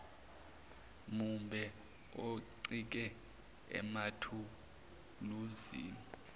mumbe oncike emathuluzini